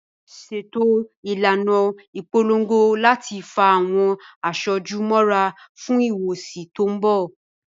Ṣètò ìlànà ìpolongo láti fa àwọn aṣojú mọ́ra fún Ìfọwọ́sí tó mbọ̀